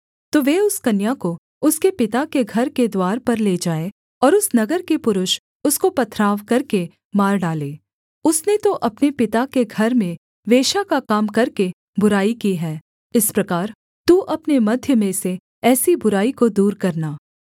तो वे उस कन्या को उसके पिता के घर के द्वार पर ले जाएँ और उस नगर के पुरुष उसको पथराव करके मार डालें उसने तो अपने पिता के घर में वेश्या का काम करके बुराई की है इस प्रकार तू अपने मध्य में से ऐसी बुराई को दूर करना